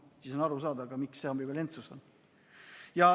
Siis on arusaadav ka, miks siin see ambivalentsus on.